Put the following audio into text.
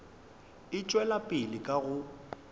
e tšwela pele ka go